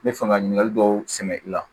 N bɛ fɛ ka ɲininkali dɔw sɛmɛ i la